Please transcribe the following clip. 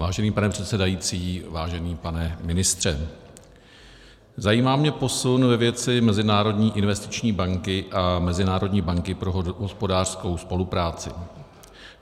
Vážený pane předsedající, vážený pane ministře, zajímá mě posun ve věci Mezinárodní investiční banky a Mezinárodní banky pro hospodářskou spolupráci.